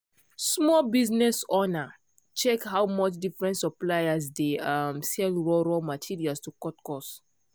small business owner check how much different suppliers dey um sell raw raw materials to cut cost.